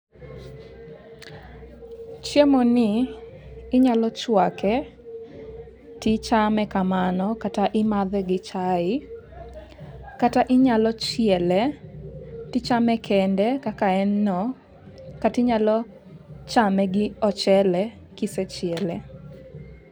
Chiemoni inyalo chwake tichame kamano kata imadhe gi chai kata inyalo chiele tichame kende kaka en no, kata inyalo chame gi ochele kisechiele.